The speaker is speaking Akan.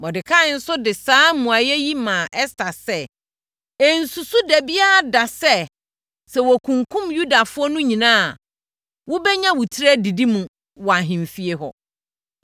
Mordekai nso de saa mmuaeɛ yi maa Ɛster sɛ, “Ɛnsusu da biara da sɛ, sɛ wɔkunkum Yudafoɔ no nyinaa a, wobɛnya wo tiri adidi mu wɔ ahemfie hɔ.